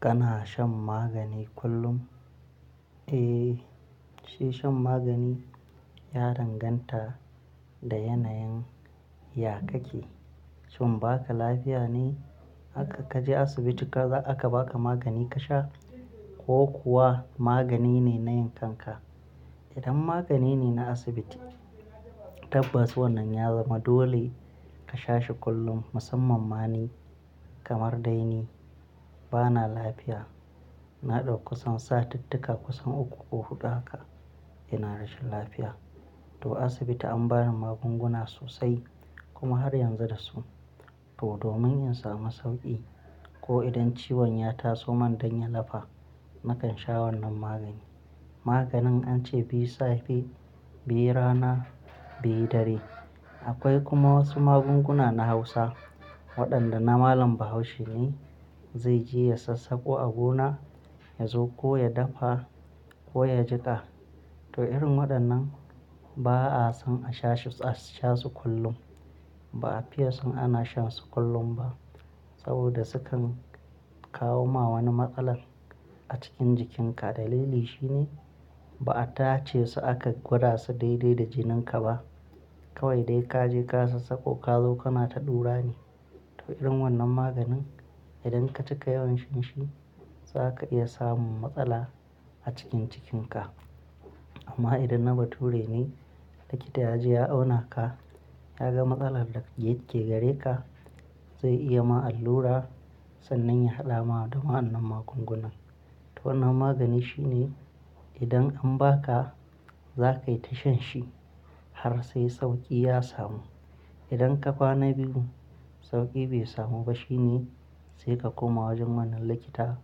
Kana shan magani kullum? Eh, shi shan magani ya danganta da yanayin ya kake. Shin baka lafiya ne haka kaje asibiti kaga aka baka magani ka sha ko kuwa magani ne na yin kanka? Idan magani ne na asibiti, tabbas wannan ya zama dole ka sha shi kullum. Musamman ma ni kamar dai ni bana lafiya, na ɗauki kusan satittika kusan uku ko huɗu haka ina rashin lafiya. To asibiti an bani magunguna sosai kuma har yanzu da su. To domin in samu sauƙi ko idan ciwon ya taso man dan ya lafa nakan sha wannan magani. Maganin an ce biyu safe, biyu rana, biyu dare. Akwai kuma wasu magunguna na hausa waɗanda na malam bahaushe ne zai je ya sassako a gona, ya zo ko ya dafa ko ya jiƙa. To irin waɗannan ba'a son a sha shi, a sha su kullum. Ba'a fiye son ana shan su kullum ba saboda sukan kawo ma wani matsala a cikin jikinka. Dalili shine ba'a tace su aka gwada su daidai da jinin ka ba. Kawai dai ka je ka sassako ka zo kana ta ɗura ne. To irin wannan maganin idan ka cika yawan shan shi zaka iya samun matsala a cikin jikin ka. Amma idan na bature ne, likita ya je ya auna ka, ya ga matsalar da yake gare ka zai iya ma allura sannan ya haɗa ma da wa'annan magungunan. To wannan magani shine idan an ba ka zakai ta shan shi har sai sauƙi ya samu. Idan ka kwana biyu sauƙi bai samu ba shine sai ka koma wajen wannan likita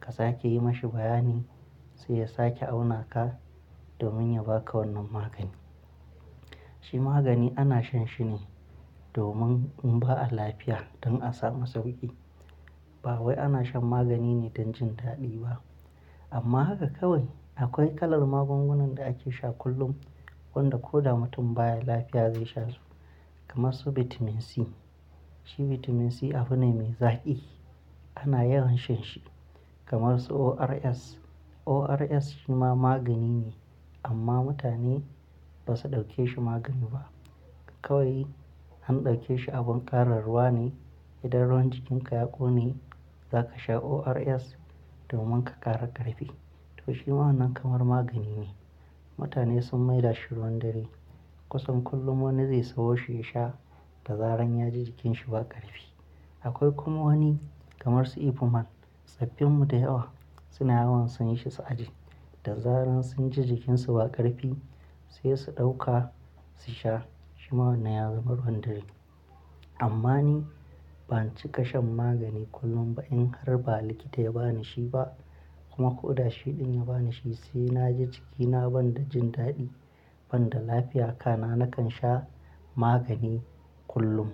ka sake yi mashi bayani sai ya sake auna ka domin ya baka wannan magani. Shi magani ana shan shi ne domin in ba a lafiya don a samu sauƙi. Ba wai ana shan magani ne don jin daɗi ba. Amma haka kawai akwai kalar magungunan da ake sha kullum wanda ko da mutum baya lafiya zai sha su kamar su Vitamin C. Shi Vitamin C abune mai zaƙi ana yawan shan shi kamar su ORS. ORS shi ma magani ne amma mutane ba su ɗauke shi magani ba. Kawai an ɗauke shi abin ƙarin ruwa ne. Idan ruwan jikin ka ya ƙone zaka sha ORS domin ka ƙara ƙarfi. To shima wannan kamar magani ne. Mutane sun maila shi ruwan dare kusan kullum wani zai sawo shi ya sha da zaran ya ji jikin shi ba ƙarfi. Akwai kuma wani kamar su Epuman. Saffin mu da yawa sina yawan siyan shi su aje. Da zaran sun ji jikin su ba ƙarfi sai su ɗauka su sha. Shima wannan ya zama ruwan dare. Amma ni ban cika shan magani kullum ba in har ba likita ya ba ni shi ba kuma ko da shi ɗin ya ba ni shi sai na ji jikina ban da jin daɗi ban da lafiya kana nakan sha magani kullum.